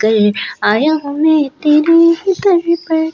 कल आया हूं मैं तेरे ही दर पर--